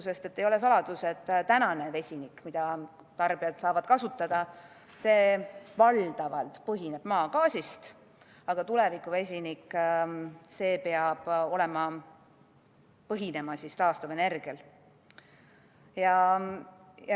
Sellepärast, et ei ole saladus, et tänane vesinik, mida tarbijad saavad kasutada, põhineb valdavalt maagaasil, aga tuleviku vesinik peab põhinema taastuvenergial.